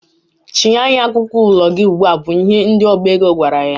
Chịnye anyị akwụkwọ ụlọ gị ugbua! bụ ihe ndị ọba ego gwara ya.